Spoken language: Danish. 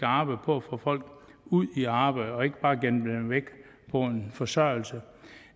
arbejde på at få folk ud i arbejde og ikke bare gemme dem væk på en forsørgelse